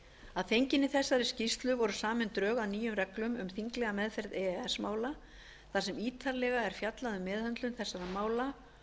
að fenginni þessari skýrslu voru samin drög að nýjum reglum um þinglega meðferð e e s mála þar sem ítarlega er fjallað um meðhöndlun þessara mála